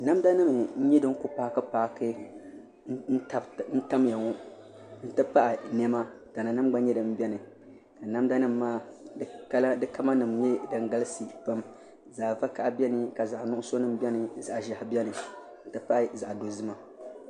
Namda nim n nyɛ din ku paaki paaki n tamya ŋo n ti pahi niɛma tana nim gba nyɛ din biɛni ka namda nim maa di kamal nim nyɛ din galisi pam zaɣ vakaɣi biɛni ka zaɣ nuɣso nim biɛni ka zaɣ ʒiɛhi biɛni n ti pahi zaɣ dozima